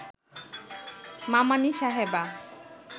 মামানী সাহেবা